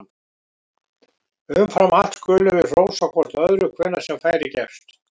Umfram allt skulum við hrósa hvort öðru hvenær sem færi gefst!